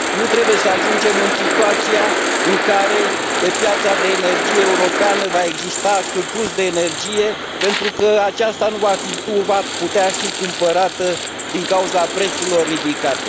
Nu trebuie să ajungem în situația în care pe piața de energie europeană va exista surplus de energie, pentru că aceasta nu va putea fi cumpărată din cauza prețurilor ridicate.